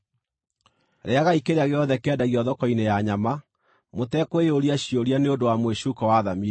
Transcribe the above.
Rĩĩagai kĩrĩa gĩothe kĩendagio thoko-inĩ ya nyama mũtekwĩyũria ciũria nĩ ũndũ wa mwĩcuuko wa thamiri,